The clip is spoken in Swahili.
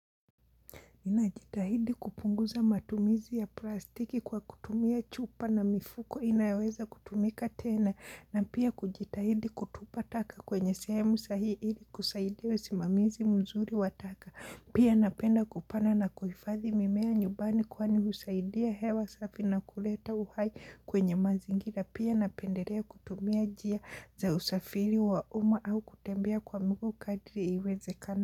Ninajitahidi kupunguza matumizi ya plastiki kwa kutumia chupa na mifuko inaweza kutumika tena na pia kujitahidi kutupa taka kwenye sehemu sahi ili kusaidia wa simamizi mzuri wataka. Pia napenda kupanda na kuhifadhi mimea nyumbani kwani husaidia hewa safi na kuleta uhai kwenye mazingira pia napendelea kutumia njia za usafiri waumma au kutembea kwa miguu kadiri iwezekanavyo.